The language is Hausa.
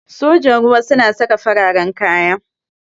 Sojan ruwa sun saka fararen kaya.